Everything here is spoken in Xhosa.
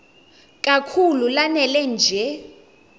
kakhulu lanela nje